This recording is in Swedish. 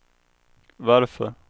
varför